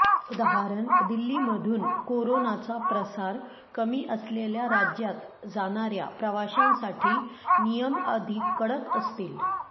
उदाः दिल्लीमधून कोरोनाचा प्रसार कमी असलेल्या राज्यात जाणाऱ्या प्रवाशांसाठी नियम अधिक कडक असतील